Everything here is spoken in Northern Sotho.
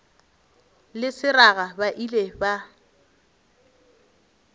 le seraga ba ile ba